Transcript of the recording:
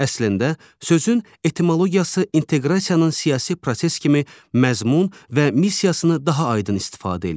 Əslində sözün etimologiyası inteqrasiyanın siyasi proses kimi məzmun və missiyasını daha aydın istifadə eləyir.